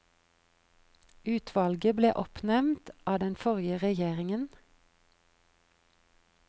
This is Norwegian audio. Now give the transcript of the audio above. Utvalget ble oppnevnt av den forrige regjeringen.